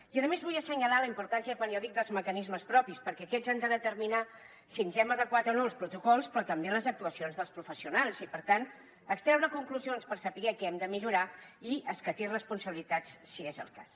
i a més vull assenyalar la importància quan jo dic dels mecanismes propis perquè aquests han de determinar si ens hem adequat o no als protocols però també les actuacions dels professionals i per tant extreure conclusions per saber què hem de millorar i escatir responsabilitats si és el cas